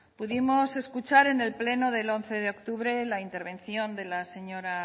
pudimos escuchar en el pleno del once de octubre la intervención de la señora